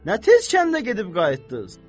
Nə tez kəndə gedib qayıtdız?